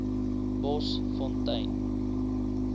bosfontein